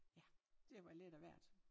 Ja det var været lidt af hvert